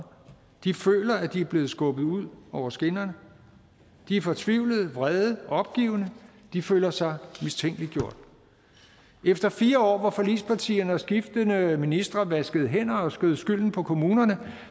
de føler at de er blevet skubbet ud over skinnerne de er fortvivlede vrede opgivende de føler sig mistænkeliggjort efter fire år hvor forligspartierne og skiftende ministre vaskede hænderne og skød skylden på kommunerne